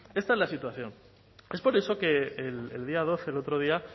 esta es la situación es por eso que el día doce el otro día